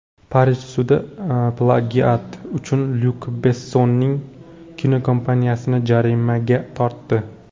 Parij sudi plagiat uchun Lyuk Bessonning kinokompaniyasini jarimaga tortdi.